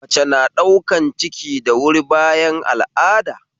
Mace na ɗaukan ciki da wuri bayan al'ada